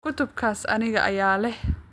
Kutubtaas anigaa leh